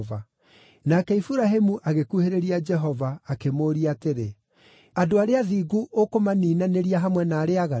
Nake Iburahĩmu agĩkuhĩrĩria Jehova akĩmũũria atĩrĩ, “Andũ arĩa athingu ũkũmaniinanĩria hamwe na arĩa aaganu?